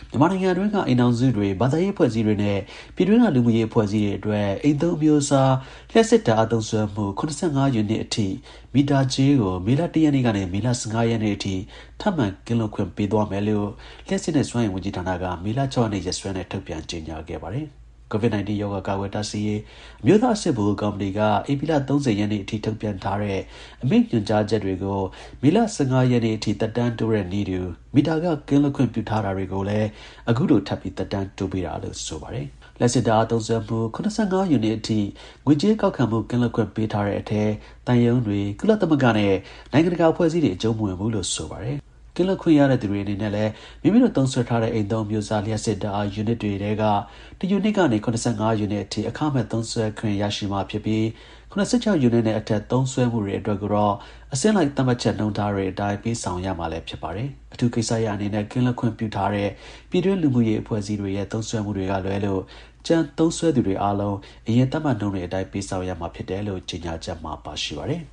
မြန်မာနိုင်ငံမှာ အိမ်ထောင်စုတွေ၊ ဘာသာရေး အဖွဲ့အစည်းတွေနဲ့ ပြည်တွင်းက လူမှုရေး အဖွဲ့အစည်းတွေအတွက် အိမ်သုံးအမျိုးအစား လျှပ်စစ်ဓါတ်အားသုံးစွဲမှု ၇၅ ယူနစ်အထိ မီတာကြေးကို မေလ ၁ ရက်နေ့ကနေ မေလ ၁၅ ရက်နေ့အထိ ထပ်မံ ကင်းလွတ်ခွင့် ပေးသွား မယ်လို့ လျှပ်စစ်နဲ့ စွမ်းအင် ဝန်ကြီးဌာနက မေလ ၆ ရက်နေ့ ရက်စွဲနဲ့ ထုတ်ပြန်ကြေညာခဲ့ပါတယ်။ COVID-19 ရောဂါကာကွယ်တားဆီးရေး အမျိုးသားအဆင့် ဗဟိုကော်မတီက ဧပြီလ ၃၀ ရက်နေ့အထိ ထုတ်ပြန်ထားတဲ့ အမိန့်၊ ညွှန်ကြား ချက်တွေကို မေလ ၁၅ ရက်နေ့အထိ သက်တမ်းတိုးတဲ့နည်းတူ မီတာခ ကင်းလွတ်ခွင့်ပြုထားတာတွေကုလည်း အခုလို ထပ်ပြီး သက်တမ်း တိုးပေးတာလို့ ဆိုပါတယ်။ လျှပ်စစ်ဓါတ်အားသုံးစွဲမှု ၇၅ ယူနစ်အထိ ငွေကြေးကောက်ခံမှု ကင်းလွတ်ခွင့် ပေးထားတဲ့အထဲ သံရုံးတွေ၊ ကုလသမဂ္ဂနဲ့ နိုင်ငံတကာ အဖွဲ့အစည်းတွေ အကြုံးမဝင်ပါဘူး။ ကင်းလွတ်ခွင့်ရတဲ့သူတွေအနေနဲ့လည်း မိမိတို့သုံးစွဲထားတဲ့ အိမ်သုံးအမျိုးအစား လျှပ်စစ်ဓါတ်အား ယူနစ်တွေထဲက (၁) ယူနစ်ကနေ (၇၅) ယူနစ်အထိ အခမဲ့ သုံးစွဲခွင့် ရရှိမှာဖြစ်ပြီး (၇၆) ယူနစ်နဲ့ အထက်သုံးစွဲမှုတွေအတွက်ကိုတော့ အဆင့်လိုက်သတ်မှတ်ချက်နှုန်း ထားတွေ အတိုင်း ပေးဆောင်ရမှာလည်း ဖြစ်ပါတယ်။ အထူးကိစ္စရပ်အနေနဲ့ ကင်းလွတ်ခွင့်ပြုထားတဲ့ ပြည်တွင်းလူမှုရေးအဖွဲ့အစည်းတွေရဲ့ သုံးစွဲမှု တွေက လွဲလို့ ကျန်သုံးစွဲသူ တွေ အားလုံး အရင် သတ်မှတ်နှုန်းတွေအတိုင်း ပေးဆောင်ရမှာ ဖြစ်တယ်လို့ ကြေညာချက်မှာ ပါရှိပါတယ်